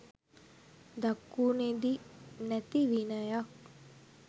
දකුණෙදි නැති විනයක්